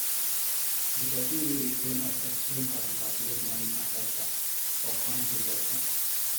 the person wey dey train us explain how to calculate money per hectare for corn production